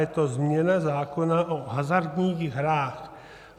Je to změna zákona o hazardních hrách.